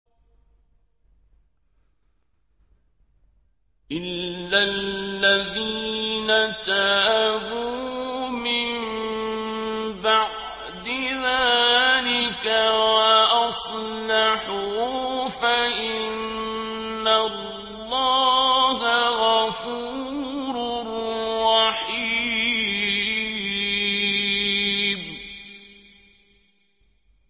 إِلَّا الَّذِينَ تَابُوا مِن بَعْدِ ذَٰلِكَ وَأَصْلَحُوا فَإِنَّ اللَّهَ غَفُورٌ رَّحِيمٌ